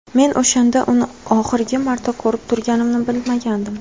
Men o‘shanda uni oxirgi marta ko‘rib turganimni bilmagandim.